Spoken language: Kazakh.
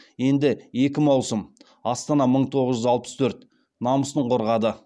енді екі маусым астана мың тоғыз жүз алпыс төрт намысын қорғады